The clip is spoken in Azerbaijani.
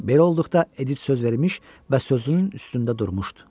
Belə olduqda Edit söz vermiş və sözünün üstündə durmuşdu.